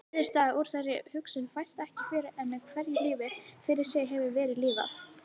Niðurstaða úr þeirri hugsun fæst ekki fyrr en hverju lífi fyrir sig hefur verið lifað.